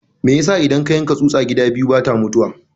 Me yasa idan ka yanka tsusa gida biyu bata mutuwa?